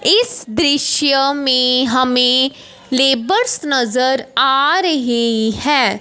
इस दृश्य में हमें लेबर्स नजर आ रहे हैं।